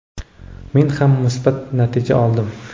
men ham musbat natija oldim.